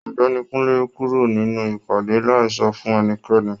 Ọ̀gbẹ́ni Kunle kúrò nínú ìpàdé láì sọ fún ẹnikẹ́ni.